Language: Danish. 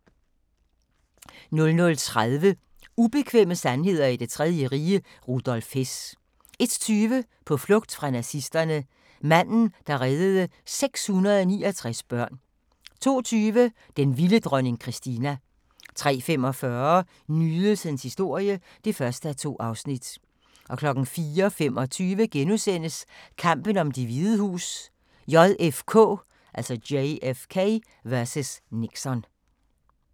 00:30: Ubekvemme sandheder i det tredje rige - Rudolf Hess 01:20: På flugt fra nazisterne – manden, der reddede 669 børn 02:20: Den vilde dronning Kristina 03:45: Nydelsens historie (1:2) 04:25: Kampen om Det Hvide Hus: JFK vs. Nixon *